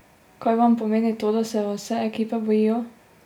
Kaj vam pomeni to, da se vas vse ekipe bojijo?